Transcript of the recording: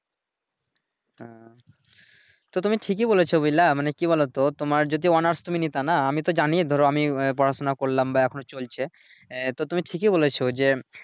হ্যাঁ, তো তুমি ঠিকই বলেছো বুঝলা মানে কি বলোতো তো তোমার যদি অনার্স তুমি নিতানা আমি তো জানিই ধরো আমি পড়াশুনা করলাম বা এখনো চলছে আহ তো তুমি ঠিকই বলেছো যে